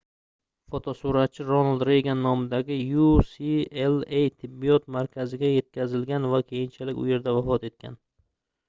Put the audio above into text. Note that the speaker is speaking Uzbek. fotosuratchi ronald reygan nomidagi ucla tibbiyot markaziga yetkazilgan va keyinchalik u yerda vafot etgan